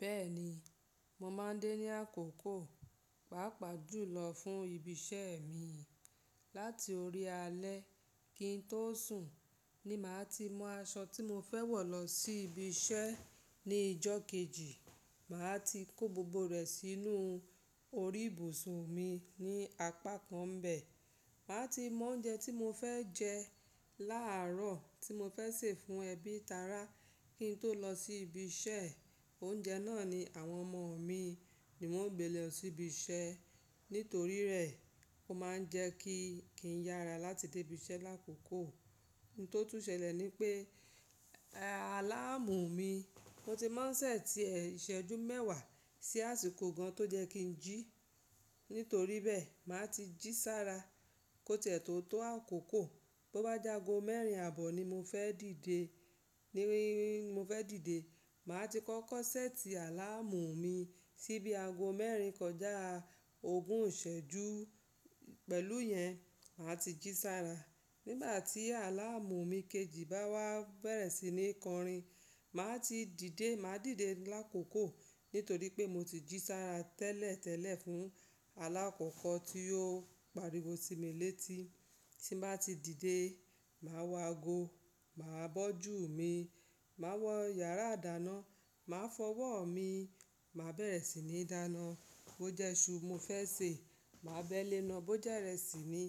Bẹ́ẹ̀ni, mo máa ń dé ní àkókò, pàápàá jùlọ fún ibi iṣẹ́ mi. Láti orí alẹ́ kí n tó sùn ni màá ti mú aṣọ tí mo fẹ́ wọ̀ lọ sí ibi iṣẹ́ ní ìjọ́ kejì. Màá ti kó gbogbo rẹ̀ sínú orí ibùsùn mi ní apá kan bẹ̀. Màá ti mo oúnjẹ tí mo fẹ́ jẹ láàárọ̀ tí mo fẹ́ sè fún ẹbí tara kí n tó lọ sí ibi iṣẹ́. Oúnjẹ náà ni àwọn ọmọ mi ni wọ́n ó gbé lọ sí ibi iṣẹ́. Nítorí rẹ̀, ó máa ń jẹ kí kí ń yára láti dé ibi iṣẹ́ lákòókò. Ohun tó tún ṣẹlẹ̀ ni pé, àláàmù mi, ó ti máa ń ṣẹ̀ sí ìṣẹ́jú mẹ́wàá sí àsìkò gan tó jẹ́ kí ń jí. Nítorí bẹ́ẹ̀, màá ti jí sára kó tiẹ́ tó tó àkókò. Bí ó bá jágo mẹ́rin àbọ̀ ni mo fẹ́ dìde, ni mo fẹ́ dìde, màá ti kọ́ kọ́ṣẹ́ẹ̀tì àláàmù mi sí bí aago mẹ́rin kọjá ogún ìṣẹ́jú. Pẹ̀lú yẹn, màá ti jí sára. Nígbà tí àláàmù mi kejì bá wá bẹ̀rẹ̀ sí ní kọrin, màá ti dìde. Màá dìde lákòókò nítorí pé mo ti jí sára tẹ́lẹ̀tẹ́lẹ̀ fún alákọ̀ọ́kọ́ tí yóò pariwo sí mi létí. Tí bá ti dìde, màá wọ aago, màá bọ́jù mi, màá wọ yàrá idáná, màá fọwọ́ mi, màá bẹ̀rẹ̀ sí ní dáná. Bó jẹ́ iṣu mo fẹ́ sè, màá béèléná. Bó jẹ́ ìrẹsì ni